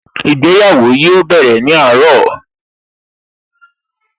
Ìgbéyàwó yóò bẹ̀rẹ̀ ní àárọ̀